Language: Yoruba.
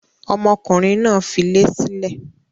Ọmọkùnrin náà filé sílẹ̀?